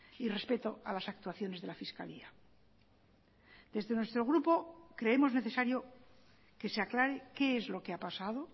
y respeto a las actuaciones de la fiscalía desde nuestro grupo creemos necesario que se aclare qué es lo que ha pasado